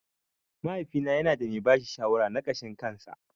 Mahaifina yanada mai bashi shawara na ƙashin kansa.